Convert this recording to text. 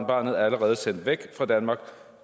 barnet allerede sendt væk fra danmark